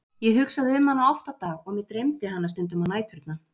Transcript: Ég hugsaði um hana oft á dag og mig dreymdi hana stundum á næturnar.